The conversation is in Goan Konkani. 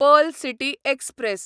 Pearl City express